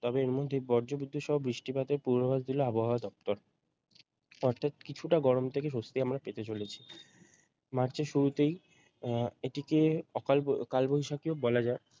তবে এর মধ্যেই বজ্রবিদ্যুৎ সহ বৃষ্টিপাতের পূর্বাভাস দিল আবহাওয়া দপ্তর অর্থাৎ কিছুটা গরম থেকে স্বস্তি আমরা পেতে চলেছি মার্চের শুরুতেই আহ এটিকে অকাল কালবৈশাখীও বলা যায়